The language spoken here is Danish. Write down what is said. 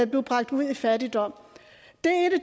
blev bragt ud i fattigdom